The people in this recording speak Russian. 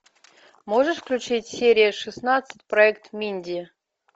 можешь включить серия шестнадцать проект минди